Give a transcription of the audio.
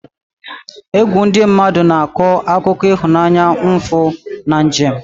Egwu ndị mmadụ na-akọ akụkọ ịhụnanya, mfu, na njem.